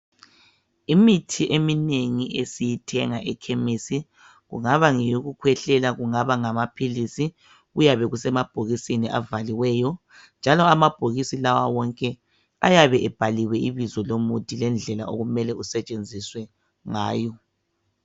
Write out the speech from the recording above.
Imithi eminengi esiyithenga ekhemesi, kungaba ngoyokukwehlela, kungaba ngamaphilisi, kuyabe kusemabhokisini avaliweyo, njalo amabhokisi lawa wonke ayabe ebhaliwe ibizo lomuthi lendlela okumele kusetshenziswe ngayo.